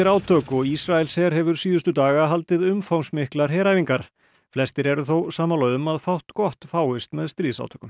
átök og Ísraelsher hefur síðustu daga haldið umfangsmiklar heræfingar flestir eru þó sammála um að fátt gott fáist með stríðsátökum